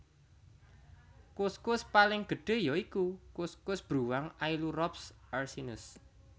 Kuskus paling gedhé ya iku kuskus bruwang Ailurops ursinus